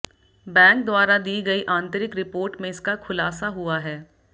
bank द्वारा दी गई आंतरिक रिपोर्ट में इसका खुलासा हुआ है